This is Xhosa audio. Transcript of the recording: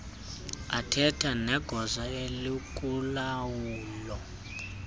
athethane negosa elikulawulo